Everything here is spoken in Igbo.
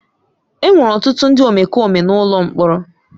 Enwere ọtụtụ ndị omekome n'ụlọ mkpọrọ.